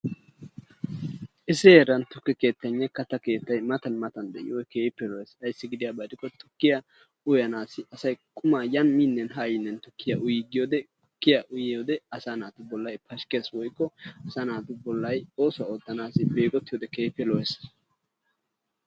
Issi heeran tukke keettaynne katta keettay mattan mattan de'iyoogge keehippe lo'ees ayssi gidiyabba gidikko tukkiyaa uyannassi asay qummaa yaaniminne haayinne tukkiya uyigiyodde tukkiyaa uyiyodde asa naatu bollay keehippe pashshikkes woyikko asa naatu bollay oosuwaa ootanawu begottiyodde keehippe lo"es.